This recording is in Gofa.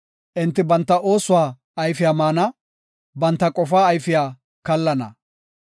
Enti banta oosuwa ayfiya maana; banta qofaa ayfiya kallana.